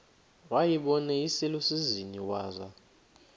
wayibona iselusizini waza